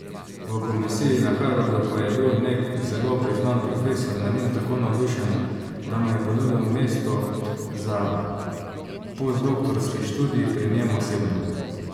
V komisiji na Harvardu pa je bil nek zelo priznan profesor nad njim tako navdušen, da mu je ponudil mesto za postdoktorski študij pri njem osebno.